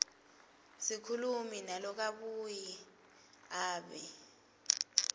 sikhulumi nalokabuye abe